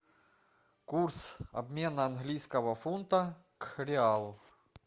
курс обмена английского фунта к реалу